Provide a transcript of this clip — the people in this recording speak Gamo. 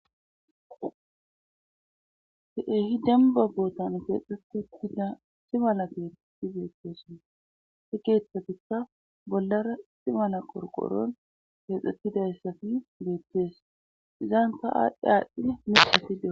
Keeh demba bootan keexxetti da timala geeeti beettesonna he keeththatikka bollara istimala qorqoron keexxettidayssafi beettees izaan ta aadhdhi aadhdhi misafi des